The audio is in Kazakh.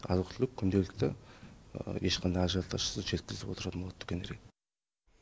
азық түлік күнделікті ешқандай ажиотажсыз жеткізіліп отыратын болады дүкендерге